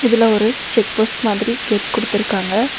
இதுல ஒரு check post மாதிரி கேட் குடுத்துருக்காங்க.